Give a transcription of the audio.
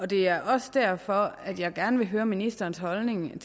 det er også derfor jeg gerne vil høre ministerens holdning nemlig